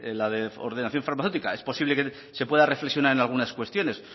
la de ordenación farmacéutica es posible que se pueda reflexionar en algunas cuestiones